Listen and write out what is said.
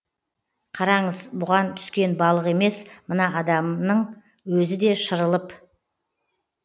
қараңыз бұған түскен балық емес мына адамнын өзі де шырылып